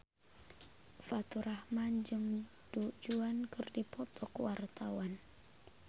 Faturrahman jeung Du Juan keur dipoto ku wartawan